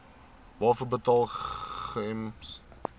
waarvoor betaal gems